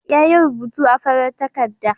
Yayi rubutu a farar takarda.